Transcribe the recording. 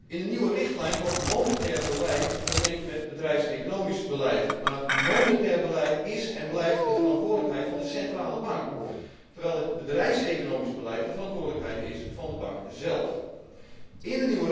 In de nieuwe richtlijn wordt monetair beleid vermengd met bedrijfseconomisch beleid, maar monetair beleid is en blijft de verantwoordelijkheid van de centrale bank, terwijl het bedrijfseconomisch beleid de verantwoordelijkheid van de bank zelf is.